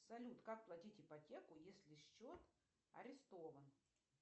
салют как платить ипотеку если счет арестован